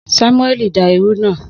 Samuẹli da iru náà.